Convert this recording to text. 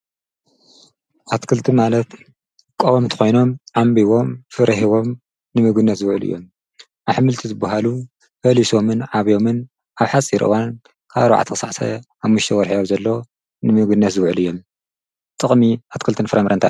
ኣትክልቲ ማለት ቀውምቲ ኾይኖም ዓንቢቦም ፍረ ሂቦም ንምግብነት ዝውዕል እዮም። ኣሕምልቲ ዝብሃሉ ፈሊሶምን ዓብዮምን ኣብ ሓፅር እዋን ካብ ኣርባዕተ ኽሳዕ ሓሙሽተ ወርሕ ኣብዘሎ ንምግብነት ዝውዕል እዮም። ጥቕሚ ኣትክልትን ፍረምን እንታይ እዩ?